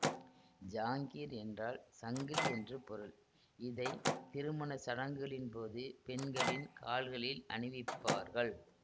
ஜாங்கீர் என்றால் சங்கிலி என்று பொருள் இதை திருமண சடங்குகளின்போது பெண்களின் கால்களில் அணிவிப்பார்கள்